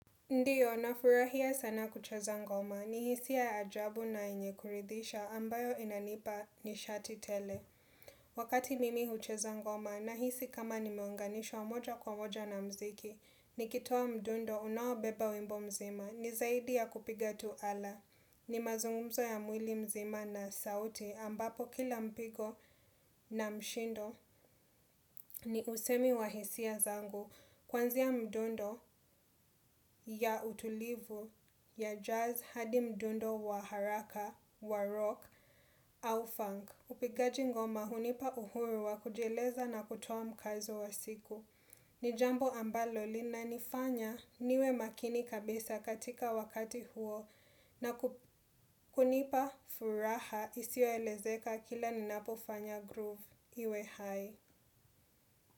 Ndiyo, nafurahia sana kucheza ngoma. Ni hisia ajabu na yenye kuridhizisha ambayo inanipa nishati tele. Wakati mimi hucheza ngoma na hisi kama nimeonganishwa moja kwa moja na mziki, ni kitoa mdundo unaobeba wimbo mzima. Ni zaidi ya kupiga tu ala. Ni mazungumzo ya mwili mzima na sauti ambapo kila mpigo na mshindo ni usemi wa hisia zangu. Kwanzia mdundo, ya utulivu, ya jazz, hadi mdundo wa haraka, wa rock, au funk upigaji ngoma hunipa uhuru wa kujieleza na kutoa mkazo wa siku ni jambo ambalo lina nifanya niwe makini kabisa katika wakati huo na kunipa furaha isiyo elezeka kila ninapo fanya groove iwe hai.